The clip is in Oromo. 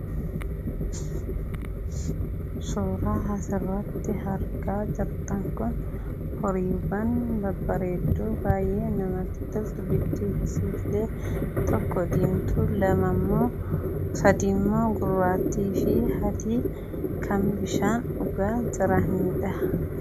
Suuraan asirratti argaa jirtan kun horii yookaan babbareedduu baayyee namatti toltu bifti isiillee tokko diimtuu lamammoo sadimmoo gurraattiifi adii kan bishaan dhugaa jiranidha.